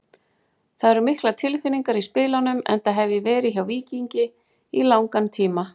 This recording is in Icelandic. Það eru miklar tilfinningar í spilunum enda hef ég verið hjá Víkingi í langan tíma.